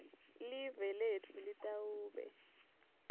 live letfu litawube